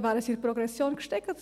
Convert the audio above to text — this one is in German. arbeiten gegangen.